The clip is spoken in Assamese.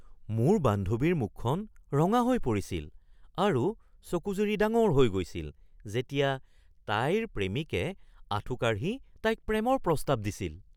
মোৰ বান্ধৱীৰ মুখখন ৰঙা হৈ পৰিছিল আৰু চকুযুৰি ডাঙৰ হৈ গৈছিল যেতিয়া তাইৰ প্ৰেমিকে আঁঠুকাঢ়ি তাইক প্ৰেমৰ প্ৰস্তাৱ দিছিল